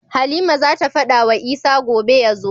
Halima zata fada wa Isa gobe yazo